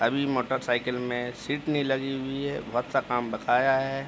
अभी मोटरसाइकिल में सीट नहीं लगी हुई है बहुत सा काम बकाया है।